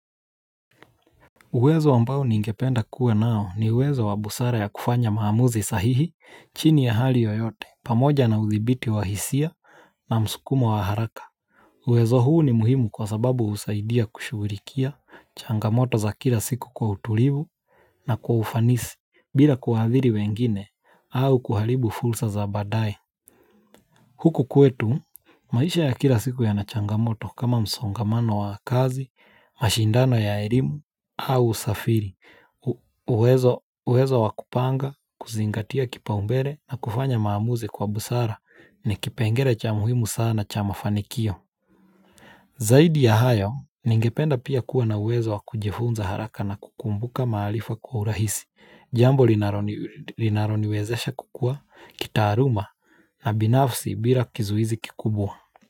Uwezo ambai ningependa kuwa nao ni uwezo wa busara ya kufanya maamuzi sahihi chini ya hali yoyote pamoja na uthibiti wahisia na msukumo wa haraka uwezo huu ni muhimu kwa sababu usaidia kushulikia changamoto za kila siku kwa utulivu na kwa ufanisi bila kuhadhiri wengine au kuharibu fursa za baadaye Huku kwetu maisha ya kila siku ya nachangamoto kama msongamano wa kazi, mashindano ya erimu au usafiri, uwezo wakupanga, kuzingatia kipa umbere na kufanya maamuze kwa busara ni kipengele cha muhimu sana cha mafanikio. Zaidi ya hayo, ningependa pia kuwa na uwezo wakujifunza haraka na kukumbuka maharifa kwa urahisi, jambo linaloniwezesha kukua, kitaluma na binafsi bila kizuizi kikubwa.